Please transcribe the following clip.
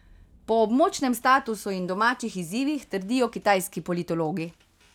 Po območnem statusu in domačih izzivih, trdijo kitajski politologi.